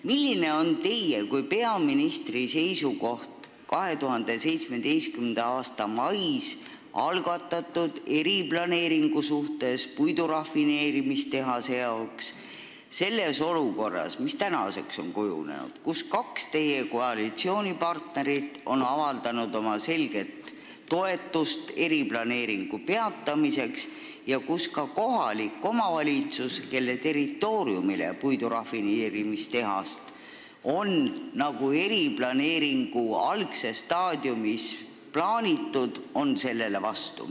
Milline on teie kui peaministri seisukoht 2017. aasta mais algatatud eriplaneeringu suhtes praeguseks kujunenud olukorras, kus kaks teie koalitsioonipartnerit on avaldanud oma selget toetust selle peatamisele ja kus ka kohalik omavalitsus, kelle territooriumile puidurafineerimistehast algses staadiumis plaaniti, on sellele vastu?